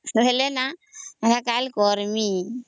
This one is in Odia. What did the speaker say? କହିଲେ ନ ମୁଇଁ କରମୀ